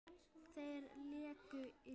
Þeir léku illa.